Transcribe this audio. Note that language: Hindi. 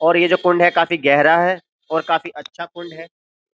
और ये जो कुंड है काफी गहरा है और काफी अच्छा कुंड है।